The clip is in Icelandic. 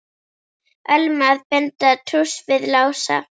Ölmu að binda trúss við Lása.